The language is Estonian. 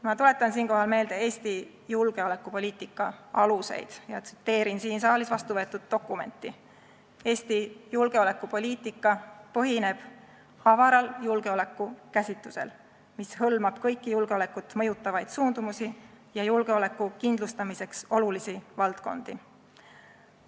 Ma tuletan siinkohal meelde Eesti julgeolekupoliitika aluseid ja tsiteerin siin saalis vastu võetud dokumenti: "Eesti julgeolekupoliitika põhineb avaral julgeolekukäsitusel, mis hõlmab kõiki julgeolekut mõjutavaid suundumusi ja julgeoleku kindlustamiseks olulisi valdkondi.